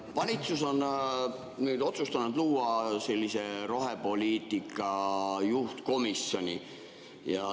Valitsus on otsustanud luua rohepoliitika juhtkomisjoni.